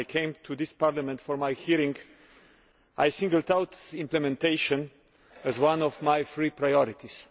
When I came to this Parliament for my hearing, I singled out implementation as one of my three priorities.